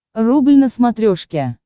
рубль на смотрешке